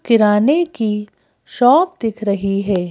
किराने की शॉप दिख रही है।